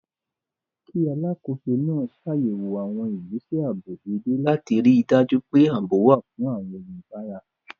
Kí Alákòóso náà ṣàyẹ̀wò àwọn ìgbésẹ̀ ààbò dédé láti ríi dájú pé ààbò wà fún àwọn oníbàárà